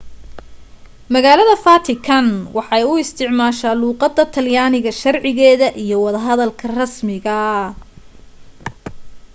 magaalada vatican waxa ay u isticmaasha luuqada talyaniga sharcigeeda iyo wada hadalka rasmiga